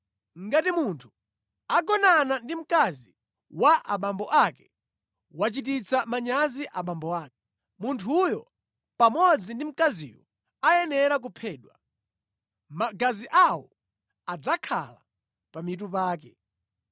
“ ‘Ngati munthu agonana ndi mkazi wa abambo ake, wachititsa manyazi abambo ake. Munthuyo pamodzi ndi mkaziyo ayenera kuphedwa. Magazi awo adzakhala pa mitu pake.